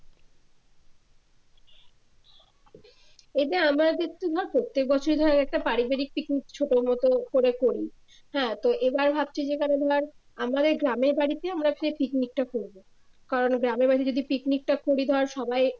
এটা আমাদের তো ধর প্রত্যেক বছরে ধর একটা পারিবারিক পিকনিক ছোটমত করে করি হ্যা তো এবার ভাবছি যেখানে ধর আমাদের গ্রামের বাড়িতে আমরা একটা পিকনিকটা করব কারণ গ্রামের বাড়িতে যদি পিকনিক টা করি ধর সবাই